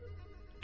Dur.